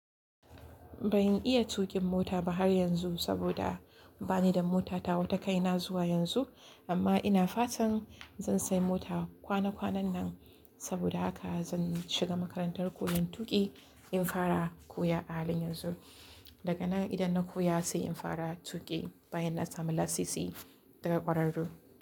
Ban iya tuƙin mota ba har yanzu saboda bani da mota ta wa ta kai na zuwa yanzu. Amma ina fatan zan sai mota kwana kwanan nan saboda haka zan shiga makarantar koyan tuƙi dan fara koya a halin yanzu. Daga nan idan na koya sai in fara tuƙi bayan na samu lasisi daga ƙwararru.